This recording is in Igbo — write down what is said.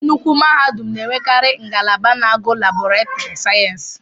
Nnukwu mahadum n'enwekari ngalaba na-agụ Laboretiri sayensị.